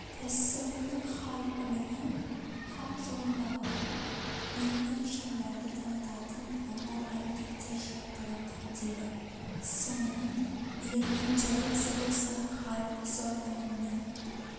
иассауидің хал ілімі хақ жолындағы белгі нышандарды танытатын амал-әрекеттер жиынтығын камтиды сонымен ілімнің теориясы болса хал сол ілімнің